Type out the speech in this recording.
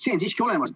See on siiski olemas.